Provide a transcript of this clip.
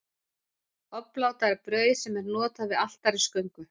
Obláta er brauð sem er notað við altarisgöngu.